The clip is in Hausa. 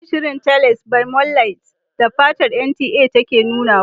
Inason shirin"Teles by moonlight" da kafar NTA take nunawa da.